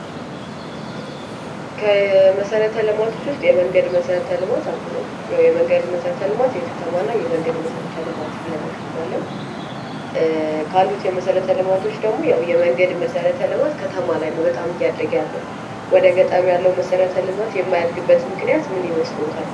ከመሰረተ ልማቶች ውስጥ የመንገድ መሰረተ ልማት አንዱ ነው። ያው የመንገድ መሰረተ ልማት የከተማና የመንገድመሰረተ ልማት ብለን እንከፍለዋለን። ካሉት የመሰረት ልማቶች ደግሞ የመንገድ መሰረት ልማት ከተማ ላይ ነው በጣም እያደገ ያለው ወደ ገጠሩ ያለው ነሰረተ ልማት የማያድግበት ምክንያት ምን ይመስሎታል?